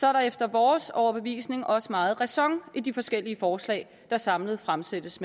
er der efter vores overbevisning også meget ræson i de forskellige forslag der samlet fremsættes